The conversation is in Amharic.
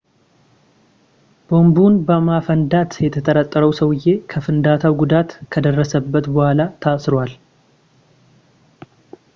ቦምቡን በማፈንዳት የተጠረጠረው ሰውዬ ከፍንዳታው ጉዳት ከደረሰበት በኋላ ታስሯል